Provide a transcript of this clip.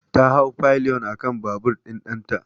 Ta hau pilion akan babur ɗin ɗanta.